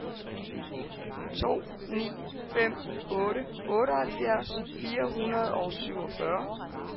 to ni fem otte otteoghalvfjerds fire hundrede og syvogfyrre